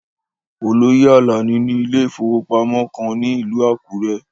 Oloye Alani ni ile-iwosan kan ni ilu Akure